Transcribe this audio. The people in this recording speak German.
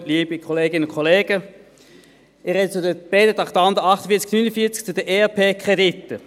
Ich spreche zu den beiden Traktanden 48 und 49, zu den ERP-Krediten.